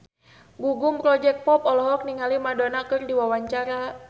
Gugum Project Pop olohok ningali Madonna keur diwawancara